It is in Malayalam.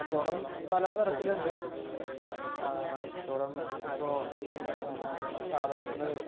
കച്ചവടം പലതരത്തിലുണ്ട് ആഹ് കച്ചവടം ഇപ്പൊ സാധനങ്ങൾ